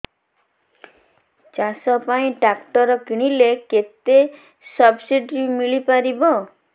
ଚାଷ ପାଇଁ ଟ୍ରାକ୍ଟର କିଣିଲେ କେତେ ସବ୍ସିଡି ମିଳିପାରିବ